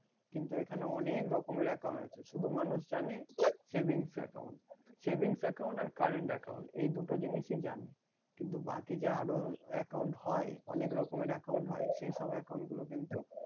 কিন্তু এখনানে অনেক রকমের account আছে। শুধু মানুষ জানে savings account savings account আর current account এই দুটো জিনিশি জানে। কিন্তু বাকি যে আরো account হয় অনেক রকমের account হয়। সেই সব account গুলো কিন্তু,